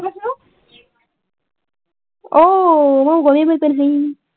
অ মই